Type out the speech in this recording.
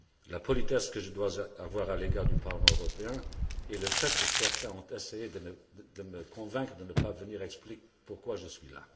La politesse que je dois avoir à l'égard du Parlement européen et le fait que certains ont essayé de me convaincre de ne pas venir expliquent pourquoi je suis présent ici!